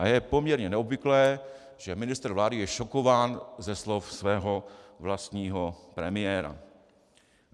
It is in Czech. A je poměrně neobvyklé, že ministr vlády je šokován ze slov svého vlastního premiéra.